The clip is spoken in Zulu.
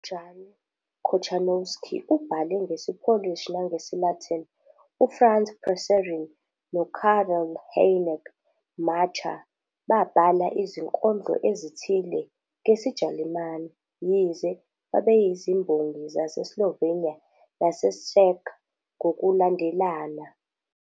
UJan Kochanowski ubhale ngesiPolish nangesiLatin, uFrance Prešeren noKarel Hynek Mácha babhala izinkondlo ezithile ngesiJalimane, yize babeyizimbongi zaseSlovenia naseCzech ngokulandelana.